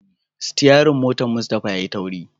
sityarin motan Mustapha yayi tauri.